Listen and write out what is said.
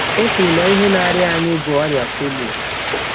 Ọ kwụrụ na ihe na - arịa anyị bụ ọrịa polio.